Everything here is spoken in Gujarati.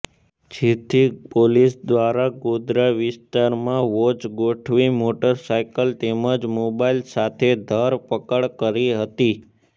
જેથી પોલીસ દ્વારા ગોન્દ્રા વિસ્તારમાં વોચ ગોઠવી મોટરસાયકલ તેમજ મોબાઇલ સાથે ધરપકડ કરી હતી